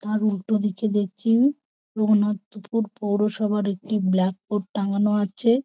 তার উল্টো দিকে দেখছি রঘুনাথপুর পৌরসভার একটি ব্ল্যাক বোর্ড টাঙানো আছে।